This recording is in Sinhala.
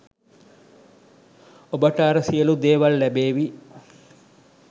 ඔබට අර සියලු දේවල් ලැබේවි.